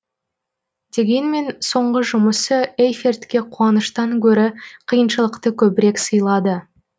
дегенмен соңғы жұмысы эйфертке қуаныштан гөрі қиыншылықты көбірек сыйлады